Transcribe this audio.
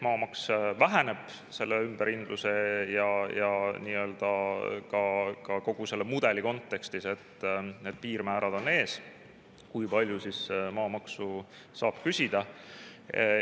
Maamaks väheneb selle ümberhindamise ja kogu selle mudeli kontekstis – need piirmäärad on ees, kui palju maamaksu saab küsida.